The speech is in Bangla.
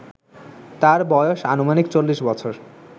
তার বয়স আনুমানিক ৪০ বছর